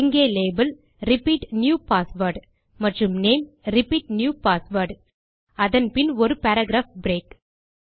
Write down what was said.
இங்கே label repeat new password மற்றும் name repeat new password அதன் பின் ஒரு பாராகிராப் பிரேக்